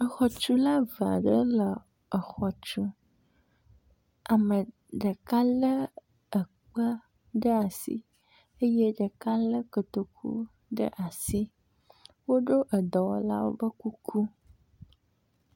Exɔtula ve aɖe exɔ tum. Ame ɖeka le ekpe ɖe asi eye ɖeka le kotoku ɖe asi. Woɖo edɔwɔla be kuku.